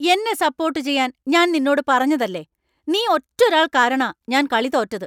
എന്നെ സപ്പോർട്ട് ചെയ്യാൻ ഞാൻ നിന്നോട് പറഞ്ഞതല്ലേ ! നീ ഒറ്റൊരാൾ കാരണാ ഞാൻ കളി തോറ്റത്!